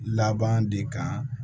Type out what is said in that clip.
Laban de kan